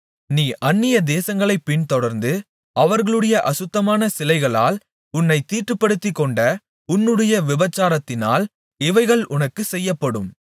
நீ அந்நியதேசங்களைப் பின்தொடர்ந்து அவர்களுடைய அசுத்தமான சிலைகளால் உன்னைத் தீட்டுப்படுத்திக்கொண்ட உன்னுடைய விபசாரத்தினால் இவைகள் உனக்குச் செய்யப்படும்